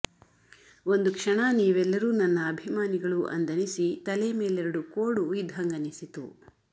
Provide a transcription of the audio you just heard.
ಒಂದು ಕ್ಷಣ ನೀವೆಲ್ಲರು ನನ್ನ ಅಭಿಮಾನಿಗಳು ಅಂದನಿಸಿ ತಲೆ ಮೇಲೆರಡು ಕೋಡು ಇದ್ದ್ಹಂಗನಿಸಿತು